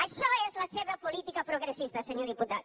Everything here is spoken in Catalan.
això és la seva política progres·sista senyor diputat